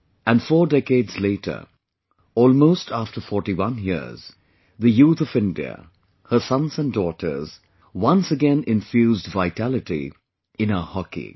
And four decades later, almost after 41 years, the youth of India, her sons and daughters, once again infused vitality in our hockey